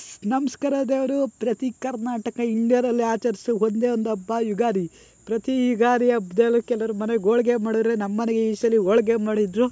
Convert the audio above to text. ನಮಸ್ಕಾರ ದೇವ್ರು ಪ್ರತಿ ಕರ್ನಾಟಕ ಇಂಡಿಯಾದಲ್ಲೇ ಆಚರಿಸೊ ಒಂದೇ ಒಂದು ಹಬ್ಬ ಯುಗಾದಿ. ಪ್ರತಿ ಯುಗಾದಿ ಹಬ್ದಲ್ಲೂ ಕೆಲವ್ರು ಮನೇಲಿ ಹೋಳಿಗೆ ಮಾಡಿದ್ರೆ ನಮ್ಮನೇಲಿ ಈ ಸಲ ಹೋಳಿಗೆ ಮಾಡಿದ್ರು .